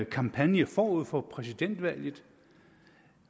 kampagne forud for præsidentvalget